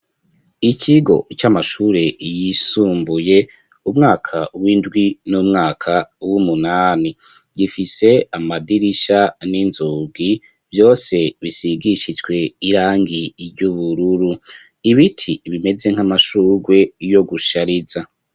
Ikigo c'amashure yisumbuye umwaka w'indwi n'umwaka w'umunani, gifise amadirisha n'inzugi vyose bisigishijwe irangi ry'ubururu. Ibiti bimeze nk'amashurwe yo gushariza.